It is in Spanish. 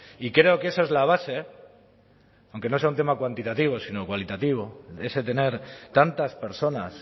y creo que esa es la base aunque no sea un tema cuantitativo sino cualitativo ese tener tantas personas